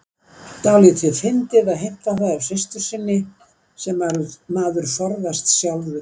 Dálítið fyndið að heimta það af systur sinni sem maður forðast sjálfur.